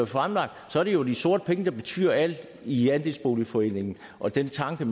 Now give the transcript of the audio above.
fremlagt er det jo de sorte penge der betyder alt i andelsboligforeningerne og den tanke